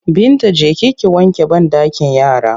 Binta je ki ki wanke banɗakin yara!